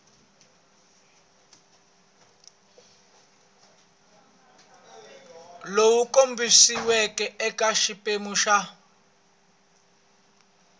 lowu kombisiweke eka xiphemu xa